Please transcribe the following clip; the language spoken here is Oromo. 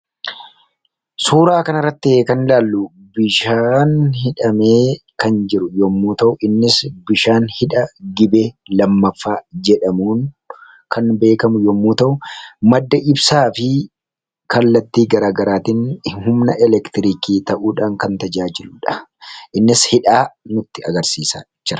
Suuraa kana irratti kan ilaallu, bishaan hidhamee kan jiru yommuu ta'u. Innis bishaan hidha gibee lammaffaa jedhamuun kan beekamu yommuu ta'u. Madda ibsaa fi kallatti garagaraatiin humna elektiriikii ta'uudhaan kan tajaajiludha. Innis hidhaa nutti agarsiisa jira.